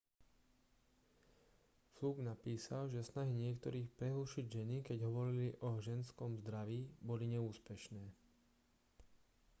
fluke napísal že snahy niektorých prehlušiť ženy keď hovorili o ženskom zdraví boli neúspešné